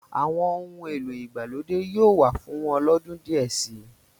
Àwọn ohun èlò ìgbàlódé yóò wà fún wọn lọ́dún díẹ̀ si.